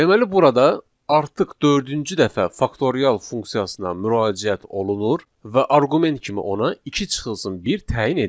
Deməli burada artıq dördüncü dəfə faktorial funksiyasına müraciət olunur və arqument kimi ona 2 çıxılsın 1 təyin edilir.